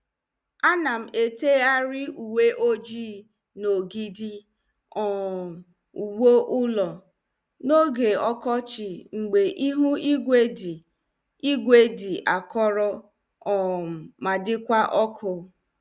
Anam eteghari uwe ọjị n'ogidi um ụgbụ ụlọ, n'oge ọkọchị mgbe ịhụ ígwè dị ígwè dị akọrọ um ma dịkwa ọkụ.